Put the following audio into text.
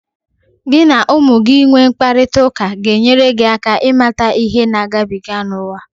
Gị na ụmụ gị inwe mkparịtaụka ga-enyere gị aka ịmata ihe ha na-agabiga n'uwa.